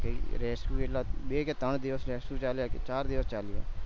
rescue એટલા બે ક ત્રણ દિવસ rescue ચાલ્યા કે ચાર દિવસ ચાલ્યા